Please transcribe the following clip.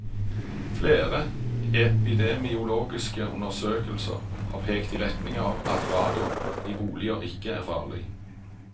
Flere epidemiologiske undersøkelser har pekt i retning av at radon i boliger ikke er farlig.